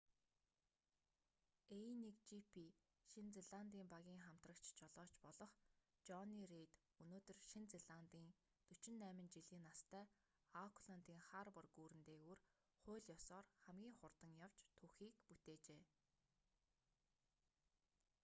a1gp шинэ зеландын багийн хамтрагч жолооч болох жонни рейд өнөөдөр шинэ зеландын 48 жилийн настай аукландын харбор гүүрэн дээгүүр хууль ёсоор хамгийн хурдан явж түүхийг бүтээжээ